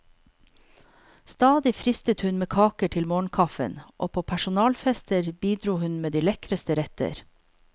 Stadig fristet hun med kaker til morgenkaffen, og på personalfester bidro hun med de lekreste retter.